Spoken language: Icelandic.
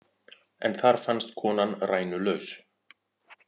En þar fannst konan rænulaus